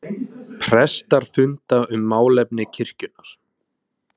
Prestar funda um málefni kirkjunnar